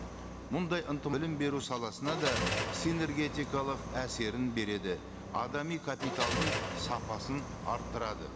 мұндай білім беру саласына да синергетикалық әсерін береді адами капиталдың сапасын арттырады